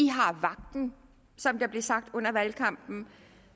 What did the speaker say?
har vagten som der blev sagt under valgkampen